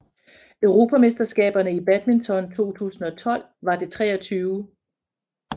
Europamesterskaberne i badminton 2012 var det 23